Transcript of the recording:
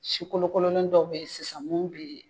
Si kolokololen dɔw be ye sisan mun be